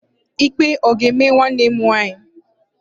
Ikpe ọ ga-ama nwanne m nwaanyị?